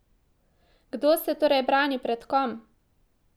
Kdo se torej brani pred kom?